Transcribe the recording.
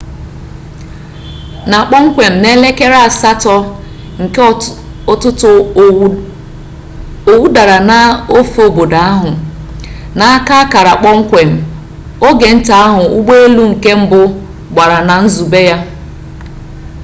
na kpọmkwem n'elekere asatọ nke ụtụtụ owu dara n'ofe obodo ahụ na-aka akara kpọmkwem ogenta ahụ ụgbọelu nke mbụ gbara na nzube ya